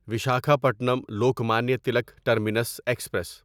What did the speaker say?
Visakhapatnam Lokmanya Tilak terminus express